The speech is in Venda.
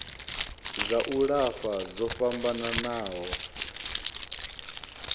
dza u lafha dzo fhambanaho